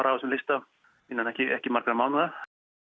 af þessum lista innan ekki ekki margra mánaða